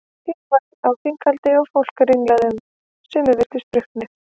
Hlé var á þinghaldi og fólk ranglaði um, sumir virtust drukknir.